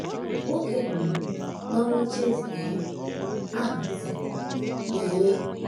Nwoke um nọ n’oche eze um ahụ sịrị: ‘ Lee! ’